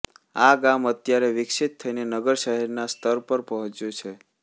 આ ગામ અત્યારે વિકસિત થઈને નગરશહેરના સ્તર પર પહોચ્યું છે